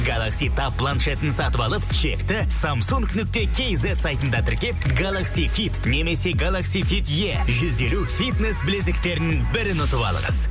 галакси таб планшетін сатып алып чекті самсунг нүкте кейзет сайтында тіркеп галакси фит немесе галакси фит е жүз елу фитнес білезіктерін бірін ұтып алыңыз